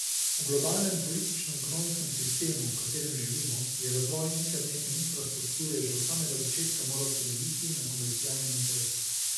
V globalnem političnoekonomskem sistemu, v katerem živimo, je razvoj internetne infrastrukture že od samega začetka moral temeljiti na komercialnem interesu.